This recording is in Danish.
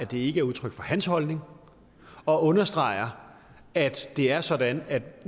det ikke er udtryk for hans holdning og understreger at det er sådan at vi